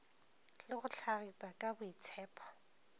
le go hlagipa ka boitshepo